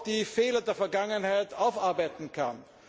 die Fehler der Vergangenheit aufarbeiten kann.